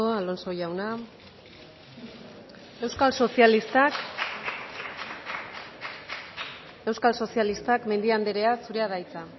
alonso jauna euskal sozialistak mendia andrea zurea da hitza